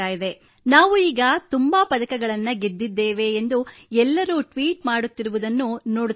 ನಾವು ಈಗ ತುಂಬಾ ಪದಕಗಳನ್ನು ಗೆದ್ದಿದ್ದೇವೆ ಎಂದು ಎಲ್ಲರೂ ಟ್ವೀಟ್ ಮಾಡುತ್ತಿರುವುದನ್ನೂ ನೋಡುತ್ತಿದ್ದೇವೆ